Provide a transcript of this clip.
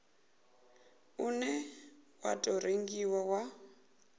une wa tou rengiwa u